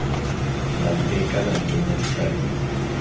la nteka la nkenya ditabeng